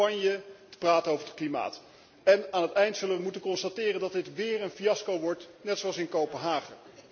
Aan het eind zullen we moeten constateren dat dit weer een fiasco wordt, net zoals in Kopenhagen.